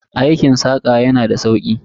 Aikin saƙa yana da sauki.